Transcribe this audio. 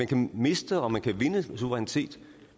kan miste og man kan vinde suverænitet